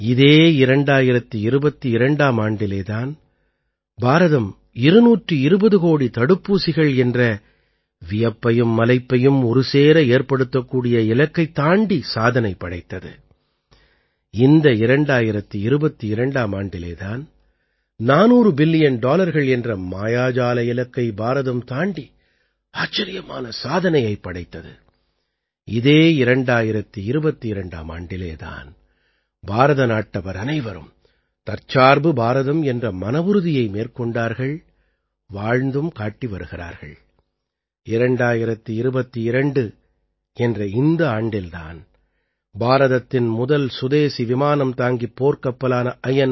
இதே 2022ஆம் ஆண்டிலே தான் பாரதம் 220 கோடி தடுப்பூசிகள் என்ற வியப்பையும் மலைப்பையும் ஒருசேர ஏற்படுத்தக்கூடிய இலக்கைத் தாண்டிச் சாதனை படைத்தது இந்த 2022ஆம் ஆண்டிலே தான் 400 பில்லியன் டாலர்கள் என்ற மாயாஜால இலக்கை பாரதம் தாண்டி ஆச்சரியமான சாதனையைப் படைத்தது இதே 2022ஆம் ஆண்டிலே தான் பாரதநாட்டவர் அனைவரும் தற்சார்பு பாரதம் என்ற மனவுறுதியை மேற்கொண்டார்கள் வாழ்ந்தும் காட்டி வருகிறார்கள் 2022 என்ற இந்த ஆண்டில் தான் பாரதத்தின் முதல் சுதேசி விமானம் தாங்கிப் போர்க்கப்பலான ஐ